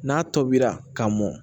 N'a tobira ka mɔn